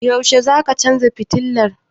Yaushe zaka canza fitilan?